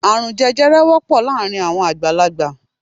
Árùn jẹjẹrẹ wọ́pọ̀ láàárín àwọn àgbàlagbà